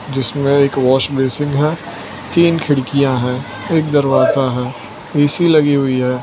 जिसमें एक wash basin है तीन खिड़कियां हैं एक दरवाजा है ए_सी लगी हुई है।